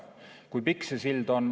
Kui pikk see sild on?